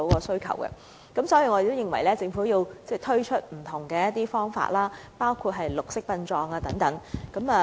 所以，我們認為政府要推出不同的解決方法，包括推廣綠色殯葬等。